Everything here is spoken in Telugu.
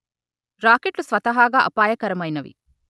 రాకెట్లు స్వతహాగా అపాయకరమైనవి